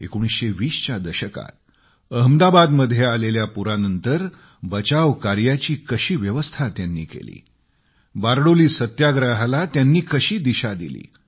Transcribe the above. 1920 च्या दशकात अहमदाबादमध्ये आलेल्या पुरानंतर बचाव कार्याची कशी व्यवस्था त्यांनी केली बारडोली सत्याग्रहाला त्यांनी कशी दिशा दिली